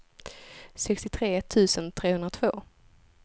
sextiotre tusen trehundratvå